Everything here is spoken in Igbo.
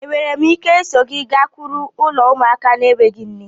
Enwere m ike iso gị gakwuru ulo ụmụaka n'enweghi nne?